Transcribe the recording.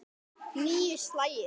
Níu slagir.